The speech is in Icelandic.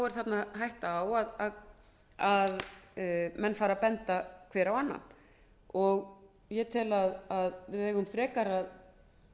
er hætta á að menn fari að benda hver á annan ég tel að við eigum frekar að